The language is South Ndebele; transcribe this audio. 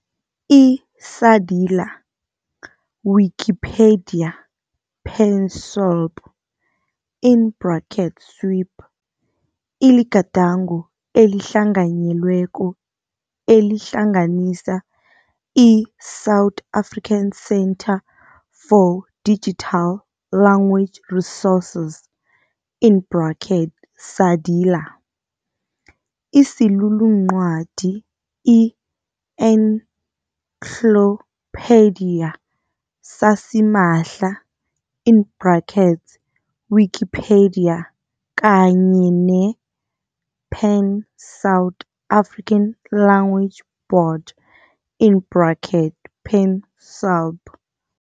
I-SADiLaR, Wikipedia-PanSALB, SWiP, iligadango elihlanganyelweko elihlanganisa i-South African Centre for Digital Language Resources, SADiLaR, isiluluncwadi i-encyclopaedia sasimahla, Wikipedia, kanye ne-Pan South African Language Board, PanSALB.